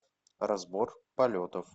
разбор полетов